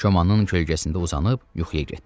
Komanın kölgəsində uzanıb yuxuya getdi.